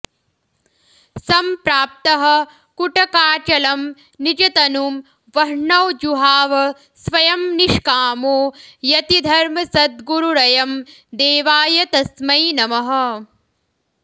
सम्प्राप्तः कुटकाचलं निजतनुं वह्नौ जुहाव स्वयं निष्कामो यतिधर्मसद्गुरुरयं देवाय तस्मै नमः